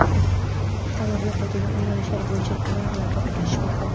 Tanlovga quyidagi yo‘nalishlar bo‘yicha loyihalar topshirilishi mumkin:.